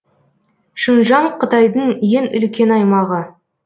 шыңжан қытайдың ең үлкен аймағы